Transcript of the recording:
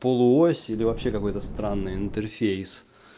полуось или вообще какой-то странный интерфейс